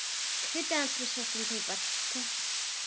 Kryddið aðeins með svörtum pipar.